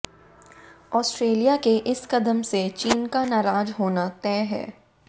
Australia के इस कदम से चीन का नाराज होना तय है